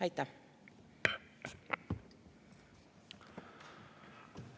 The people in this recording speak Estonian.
Aitäh!